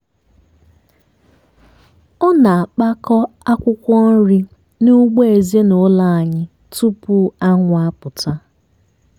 ọ na-akpakọ akwụkwọ nri n'ugbo ezinụlọ anyị tupu anwụ apụta.